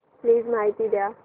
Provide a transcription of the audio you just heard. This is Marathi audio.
प्लीज माहिती द्या